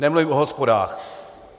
Nemluvím o hospodách.